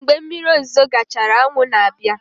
Mgbe mmiri ozuzo gachara, anwụ na-abịa.